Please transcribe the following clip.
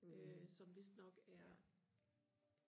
øh som vidst nok er